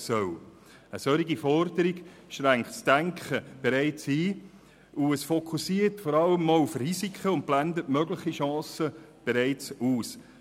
Eine solche Forderung schränkt das Denken bereits ein, und es fokussiert vor allem auch auf Risiken und blendet mögliche Chancen bereits aus.